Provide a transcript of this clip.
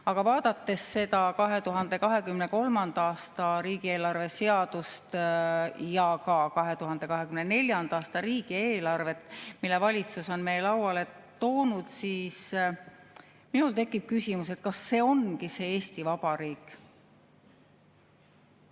Aga vaadates 2023. aasta riigieelarve seadust ja ka 2024. aasta riigieelarvet, mille valitsus on meie lauale toonud, tekib minul küsimus, kas see ongi see Eesti Vabariik.